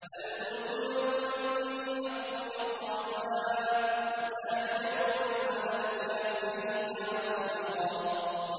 الْمُلْكُ يَوْمَئِذٍ الْحَقُّ لِلرَّحْمَٰنِ ۚ وَكَانَ يَوْمًا عَلَى الْكَافِرِينَ عَسِيرًا